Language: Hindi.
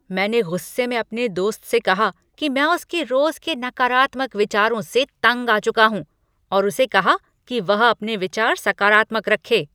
मैंने गुस्से में अपने दोस्त से कहा कि मैं उसके रोज के नकारात्मक विचारों से तंग आ चुका हूँ और उसे कहा कि वह अपने विचार सकारात्मक रखे।